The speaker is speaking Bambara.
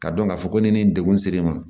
Ka dɔn k'a fɔ ko ne ni degun ser'e ma